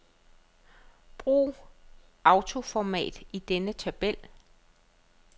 Brug autoformat i denne tabel.